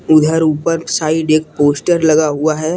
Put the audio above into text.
उधर ऊपर साइड एक पोस्टर लगा हुआ हैं।